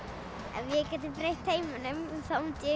ef við getum breytt heiminum þá mundi